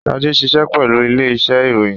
Shade ṣiṣẹ pẹlu ile-iṣẹ iroyin